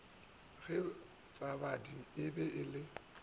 ge bjatladi e be e